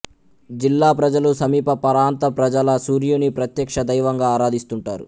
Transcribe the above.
జిల్లా ప్రజలు సమీపప్రాంత ప్రజలు సూర్యుని ప్రత్యక్ష దైవంగా ఆరాధిస్తుంటారు